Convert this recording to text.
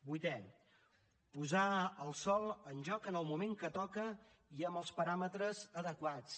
vuitè posar el sòl en joc en el moment que toca i amb els paràmetres adequats